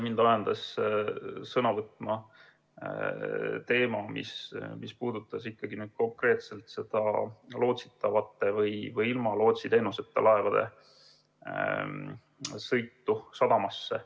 Mind ajendas sõna võtma teema, mis puudutab konkreetselt ilma lootsiteenuseta laevade sõitu sadamasse.